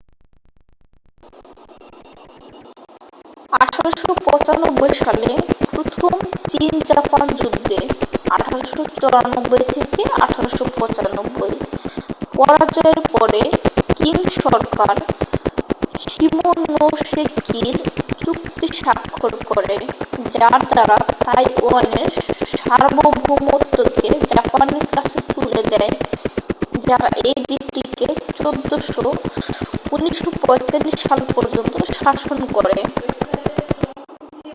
1895 সালে প্রথম চীন-জাপান যুদ্ধে 1894-1895 পরাজয়ের পরে কিং সরকার শিমোনোসেকির চুক্তি স্বাক্ষর করে যার দ্বারা তাইওয়ানের সার্বভৌমত্বকে জাপানের কাছে তুলে দেয় যারা এই দ্বীপটিকে 1945 সাল পর্যন্ত শাসন করে।